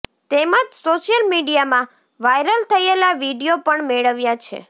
તેમજ સોશિયલ મીડિયામાં વાયરલ થયેલા વીડિયો પણ મેળવ્યા છે